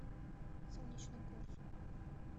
солнечногорску